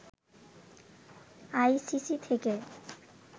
ICC থেকে